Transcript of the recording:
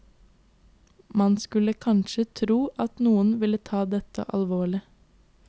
Man skulle kanskje ikke tro at noen ville ta dette alvorlig.